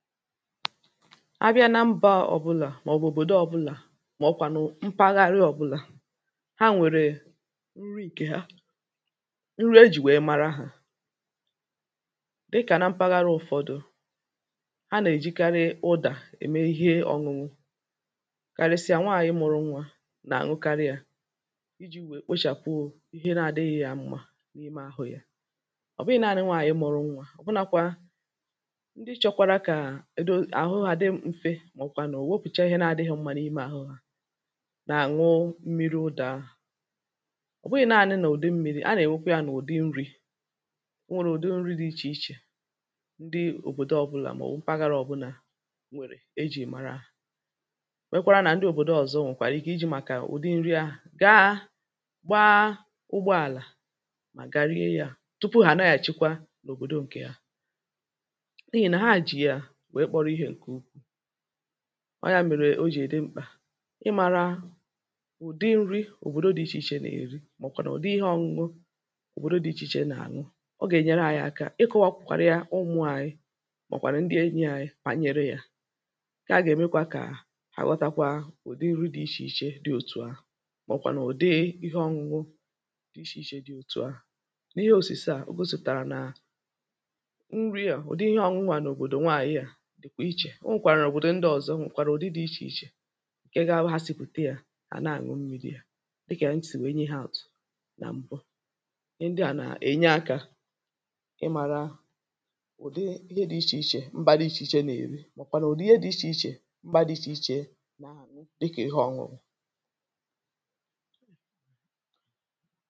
abịa na mbȧ ọ̀bụlà ma ọ̀ bụ̀ òbòdo ọ̀bụlà mà ọ̀kwànụ mpaghara ọ̀bụlà ha nwèrè nri ìkè ha nri ejì nwèe mara hȧ dịkà na mpaghara ụ̀fọdụ ha nè-èjikarị ụdà ème ihe ọṅụṅụ kàresịa nwaànyị mụrụ nwȧ nà ànwụkarị yȧ iji̇ nwèe kpechàpụ ihe na-adịghị yȧ m̀ma n’ime ahụ̇ yȧ ọ̀ bụghị̇ naanị̇ nwaànyị mụ̇rụ nwȧ ọ̀bụnȧkwȧ màọ̀kwà n’òwopùcha ihe na-adị̇ghị̇ mmȧ n’ime àhụ hȧ nà-àṅụ mmiri ụdà ọ̀ bụghị̇naȧnị̇ nà ụ̀dị mmiri, a nà-èwokwu yȧ n’ụ̀dị nri̇ o nwèrè ụ̀dị nri̇ dị̇ ichè ichè ndị òbòdò ọ̀bụlà mà o paghara ọ̀bụlà nwèrè e jì màrà nwekwara nà ndị òbòdò ọ̀zọ nwèkwàrà ike iji̇ màkà ụ̀dị nri ahụ̀ gaa gbaa ụgbọàlà mà garie yȧ tupu hà na-àchịkwa n’òbòdò ǹkè a ọ ya mèrè o jì ède mkpà ịmȧrȧ ùdi nri̇ òbòdo dị̇ ichè ichè nà-èri màọ̀bụ̀ kwà n’ụ̀dị ihe ọ̇ñụ̇ñụ òbòdo dị̇ ichè ichè nà-àñụ ọ gà-ènyere ȧnyị̇ aka ịkụ̇wȧkwȧkwȧrị yȧ ụmụ̇ ànyị màọ̀bụ̀ kwà n’ndị enyi̇ ànyị kpà nyèrè yȧ ǹke a gà-èmekwa kà àghọtakwa ùdi nri dị̇ ichè ichè dị̇ òtù ahụ̀ màọ̀bụ̀ kwà n’ùdi ihe ọ̇ñụ̇ñụ dị̇ ichè ichè dị̇ òtù ahụ̀ n’ihe òsìse à o gȯ sụ̀tàrà nà nri à òdi ihe ọ̇ñụ̇ à n’òbòdò nwaànyị à kwàrà ụdị dị̇ ichè ichè ǹkè gȧbụ ha sikwùte yȧ hà na-àñụ mmi̇ri̇ yȧ dịkà ntị̀ nwèe nye ihe ạ̀tụ̀ nà m̀gbo ndị à nà-ènye akȧ ị màrà ụ̀dị ihe dị̇ ichè ichè mbà dị ichè ichė nà-èri màọ̀bụ̀ kwà na ụ̀dị ihe dị̇ ichè ichè mbà dị̇ ichè ichè dịkà ihe ọṅụṅụ̀